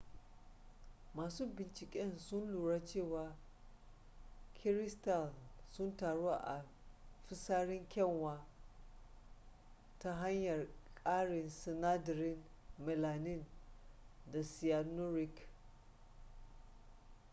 masu binciken sun lura cewa kiristal sun taru a fisarin kyanwa ta hanyar karin sinadarin melanin da cyanuric